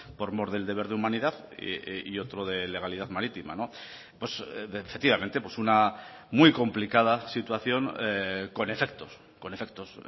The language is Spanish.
por mor del deber de humanidad y otro de legalidad marítima efectivamente una muy complicada situación con efectos con efectos